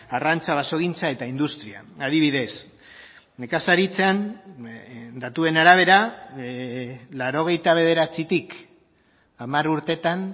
arrantza basogintza eta industria adibidez nekazaritzan datuen arabera laurogeita bederatzitik hamar urtetan